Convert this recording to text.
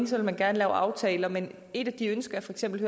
så vil man gerne lave aftaler men et af de ønsker jeg for eksempel